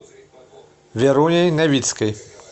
веруней новицкой